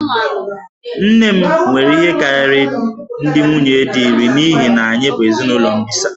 Nne m nwere ihe karịrị ndị nwunye di iri n'ihi na anyị bụ ezinụlọ mbisa